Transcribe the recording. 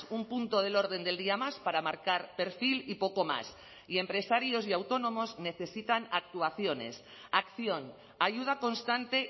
un punto del orden del día más para marcar perfil y poco más y empresarios y autónomos necesitan actuaciones acción ayuda constante